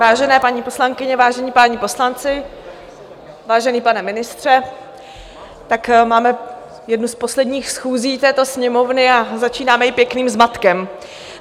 Vážené paní poslankyně, vážení páni poslanci, vážený pane ministře, tak máme jednu z posledních schůzí této Sněmovny a začínáme ji pěkným zmatkem.